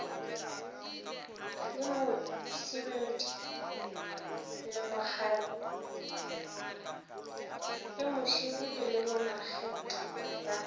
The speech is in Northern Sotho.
le musibudi le bomakgetle ba